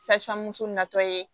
natɔ ye